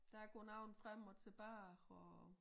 Der går nogen frem og tilbage for at